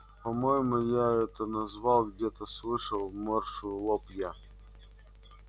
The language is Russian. по-моему я это назвал где-то слышал морщу лоб я